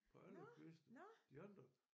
På alle kviste de andre